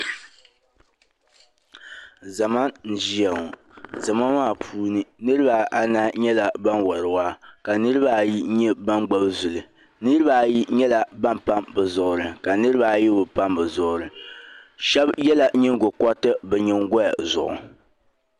ZAma n ʒiyaŋɔ. zama maa puuni niribi a mani nyɛla ban wari waa. ka niribi ayi nyɛ ban gbubi zuli. niribi ayi nyɛ ban pam bɛ zuɣuri. niribi ayi bɛ pam bɛ zuɣuri. shabi yela nyiŋgo koriti bɛ nyiŋgoya zuɣu.